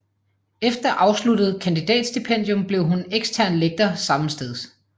Efter afsluttet kandidatstipendium blev hun ekstern lektor sammensteds